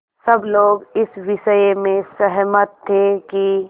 सब लोग इस विषय में सहमत थे कि